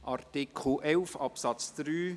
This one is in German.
Artikel 11 Absatz 3: